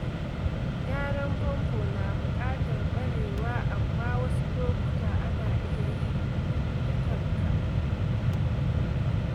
Gyaran famfo na buƙatar ƙwarewa, amma wasu lokuta ana iya yi da kanka.